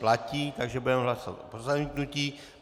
Platí, takže budeme hlasovat o zamítnutí.